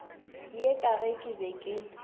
ye ka ge ke be